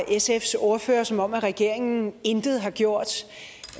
sfs ordfører som om regeringen intet har gjort